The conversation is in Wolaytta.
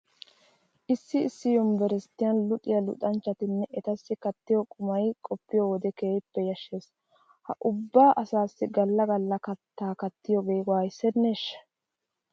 Issi issi yunveresttiyan luxiya luxanchchatinne etassi kattiyo qumay qoppiyo wode keehippe yashshees. Ha ubba asaassi galla galla kattaa kattiyogee waayissenneeshsha!